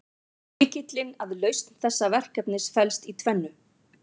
Lykillinn að lausn þessa verkefnis felst í tvennu.